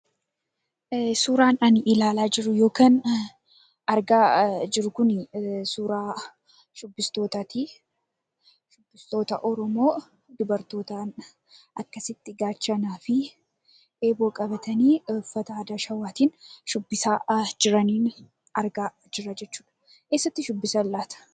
Suuraan ani ilaalaa jiru yookaan argaa jiru kuni suuraa shubbistootaati. Shubbistoota Oromoo dubartootaan akkasitti gaachanaa fi eeboo qabatanii uffata aadaa Shawaatiin shubbisaa jiraniin argaa jira jechuudha. Eessatti shubbisan laata?